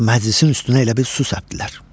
Məclisin üstünə elə bil su səpdilər.